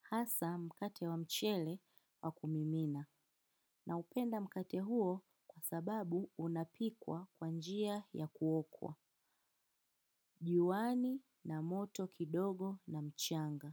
Hasa mkate wa mchele wa kumimina. Naipenda mkate huo kwa sababu unapikwa kwa njia ya kuokwa viwani na moto kidogo na mchanga.